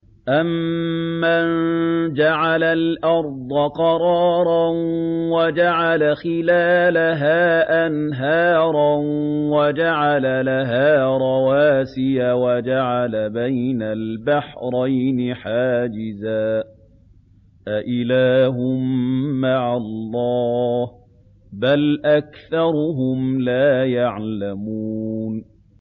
أَمَّن جَعَلَ الْأَرْضَ قَرَارًا وَجَعَلَ خِلَالَهَا أَنْهَارًا وَجَعَلَ لَهَا رَوَاسِيَ وَجَعَلَ بَيْنَ الْبَحْرَيْنِ حَاجِزًا ۗ أَإِلَٰهٌ مَّعَ اللَّهِ ۚ بَلْ أَكْثَرُهُمْ لَا يَعْلَمُونَ